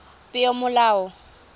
peomolao